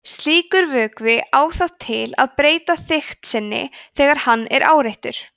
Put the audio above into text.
slíkur vökvi á það til að breyta þykkt sinni þegar hann er áreittur